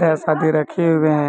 Dash आदि रखे हुए है।